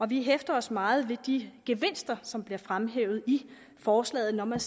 vi hæfter os meget ved de gevinster som bliver fremhævet i forslaget når man